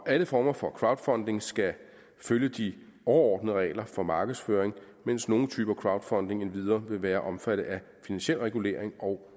alle former for crowdfunding skal følge de overordnede regler for markedsføring mens nogle typer crowdfunding endvidere vil være omfattet af finansiel regulering og